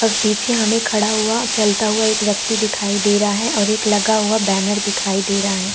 पर पीछे हमें खड़ा हुआ चलता हुआ एक व्यक्ति दिखाई दे रहा है और एक लगा हुआ बैनर दिखाई दे रहा है।